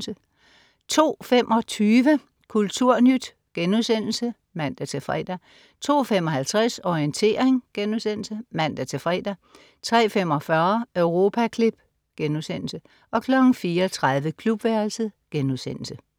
02.25 Kulturnyt* (man-fre) 02.55 Orientering* (man-fre) 03.45 Europaklip* 04.30 Klubværelset*